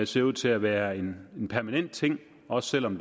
ser ud til at være en permanent ting også selv om